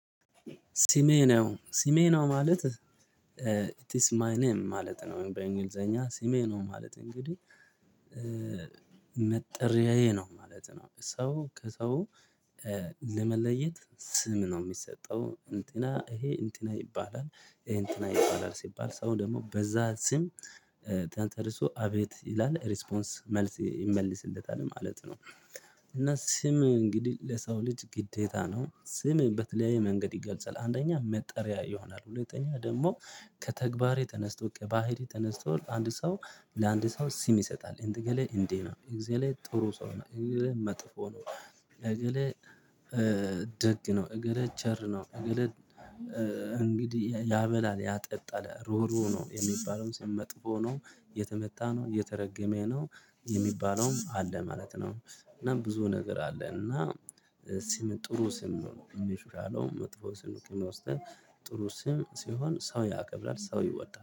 ሲሜ ነው ሲሜ ነው ማለት? ኢት ኢዝ ማይ ኔም ማለት ነው። በእንግሊዘኛ ሲሜ ነው ማለት እንግዲህ መጠሪያዬ ነው ማለት ነው። ሰው ከሰው ለመለየት ስም ነው የሚሰጠው። እንትና ይሄ እንትና ይባላል እንትና ይባላል ሲባል ሰው ደግሞ በዛ ስም ተጠርሶ አቤት ይላል ፥ሪስፖንስ፥ መልስ ይመልስለታል ማለት ነው። እና ስም እንግዲህ ለሰው ልጅ ግዴታ ነው። ስም በተለያየ መንገድ ይገልጻል አንደኛ መጠሪያ ይሆናል ሁለተኛ ደግሞ ከተግባሬ ተነስቶ ከባህሪ ተነስቶ አንድ ሰው ለአንድ ሰው ስም ይሰጣል። እንደ እገሌ እንዴ ነው፥ እግዜሌ ጥሩ ሰው ነው፥ እገሌ መጥፎ ነው ፥እገሌ ደግ ነው፥ እገሌ ቸር ነው፥ እገሌ እንግዲህ ያበላል፥ ያጠጣል፥ ሩህሩህ ነው የሚባለውም ስም መጥፎ ነው፥ የተመታ ነው፥ የተረገመ ነው የሚባለውም አለ ማለት ነው። እና ብዙ ነገር አለ እና ስም ጥሩ ስም ነው መጥፎ ስም ነው ወስደን ጥሩ ስም ሲሆን ሰው ያከብራል ሰው ይወዳል